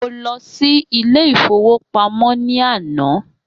Mo lọ sí Ilé-ìfowópamó ní àná